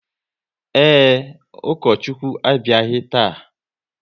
Ee, Ukochukwu abịaghị taa